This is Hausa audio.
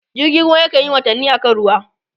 jirgin ruwa kanyi watanni a kan ruwa